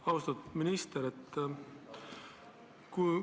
Austatud minister!